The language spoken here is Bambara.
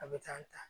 A bɛ taa ta